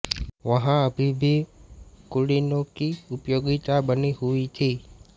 वहाँ अभी भी कुलीनों कि उपयोगिता बनी हुई थी